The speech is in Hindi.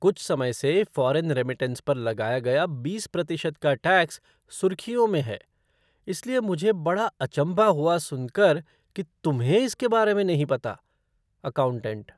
कुछ समय से फ़ॉरेन रेमिटेंस पर लगाया गया बीस प्रतिशत का टैक्स सुर्खियों में है, इसलिए मुझे बड़ा अचम्भा हुआ सुनकर कि तुम्हें इसके बारे में नहीं पता। अकाउंटेंट